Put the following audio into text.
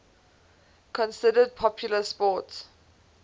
considered popular sports